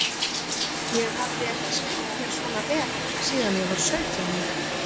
Ég hafði ekki skemmt mér svona vel síðan ég var sautján ára.